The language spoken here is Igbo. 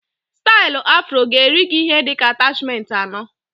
Stailu afro ga-eri gị ihe dịka atachment anọ